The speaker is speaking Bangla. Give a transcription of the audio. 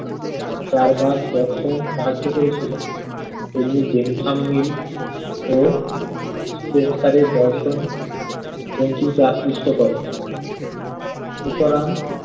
চারবাকদর্শন সাহায্য করেছিলেন তেমনিই ও spencer এর দর্শন বঙ্কিমকে আকৃষ্ট করে। সুতরাং